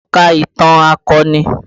Ṣé o ka ìtàn akọni?